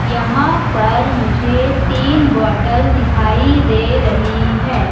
यहां पर मुझे तीन बॉटल दिखाई दे रही है।